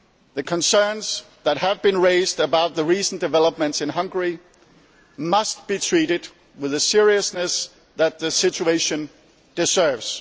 The concerns that have been raised about the recent developments in Hungary must be treated with the seriousness that the situation deserves.